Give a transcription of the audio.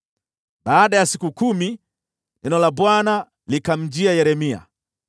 Baada ya siku kumi, neno la Bwana likamjia Yeremia.